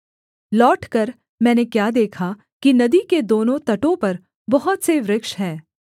लौटकर मैंने क्या देखा कि नदी के दोनों तटों पर बहुत से वृक्ष हैं